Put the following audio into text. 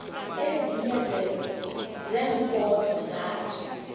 ezinye zeenkondlo zakhe